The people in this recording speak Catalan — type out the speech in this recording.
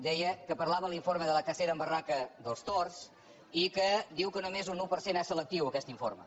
deia que parlava l’informe de la cacera en barraca dels tords i que diu que només un un per cent és selectiu aquest informe